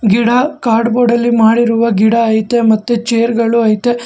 ಗಿಡ card board ಅಲ್ಲಿ ಮಾಡಿರುವ ಗಿಡ ಐತೆ ಮತ್ತು ಚೇರ್ ಗಳು ಐತೆ.